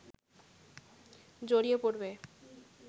জড়িয়ে পড়বে